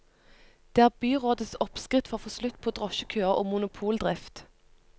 Det er byrådets oppskrift for å få slutt på drosjekøer og monopoldrift.